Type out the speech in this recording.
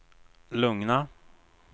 lugna